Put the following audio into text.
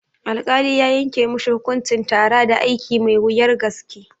Alkali ya yanke mishi hukuncin tara da aiki mai wuyar gaske